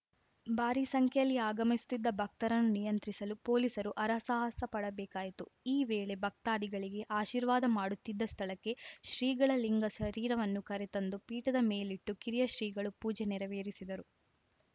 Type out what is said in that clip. ಭಾರೀ ಸಂಖ್ಯೆಯಲ್ಲಿ ಆಗಮಿಸುತ್ತಿದ್ದ ಭಕ್ತರನ್ನು ನಿಯಂತ್ರಿಸಲು ಪೊಲೀಸರು ಹರಸಾಹಸ ಪಡಬೇಕಾಯಿತು ಈ ವೇಳೆ ಭಕ್ತಾಧಿಗಳಿಗೆ ಆಶೀರ್ವಾದ ಮಾಡುತ್ತಿದ್ದ ಸ್ಥಳಕ್ಕೆ ಶ್ರೀಗಳ ಲಿಂಗ ಶರೀರವನ್ನು ಕರೆತಂದು ಪೀಠದ ಮೇಲಿಟ್ಟು ಕಿರಿಯ ಶ್ರೀಗಳು ಪೂಜೆ ನೆರವೇರಿಸಿದರು